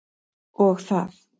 Og það.